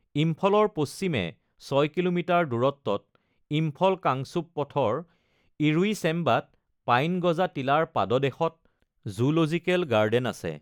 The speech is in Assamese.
ইম্ফলৰ পশ্চিমে ছয় কিলোমিটাৰ দূৰত্বত, ইম্ফল-কাংচুপ পথৰ ইৰোইচেম্বাত পাইন গজা টিলাৰ পাদদেশত জুলজিকেল গাৰ্ডেন আছে।